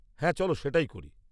-হ্যাঁ চলো সেটাই করি।